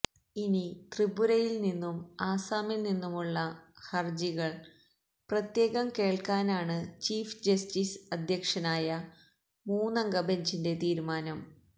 ഇനി ത്രിപുരയില്നിന്നും അസാമില്നിന്നുമുള്ള ഹര്ജികള് പ്രത്യേകം കേള്ക്കാനാണ് ചീഫ് ജസ്റ്റിസ് അധ്യക്ഷനായ മൂന്നംഗ ബെഞ്ചിന്റെ തീരുമാനം